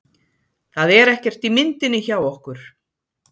Það er ekkert í myndinni hjá okkur.